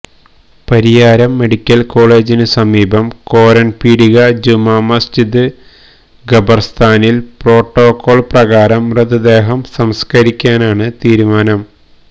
Pariyaram medical കോളേജിന് സമീപം കോരൻപീടിക ജുമാ മസ്ജിദ് ഖബർസ്ഥാനിൽ പ്രോട്ടോക്കോൾ പ്രകാരം മൃതദേഹം സംസ്കരിക്കാനാണ് തീരുമാനം